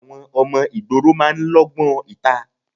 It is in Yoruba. Àwọn ọmọ ìgboro máa ń lógbón ìta.